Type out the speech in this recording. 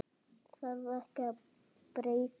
Þarf ekki að breyta þessu?